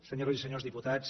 senyores i senyors diputats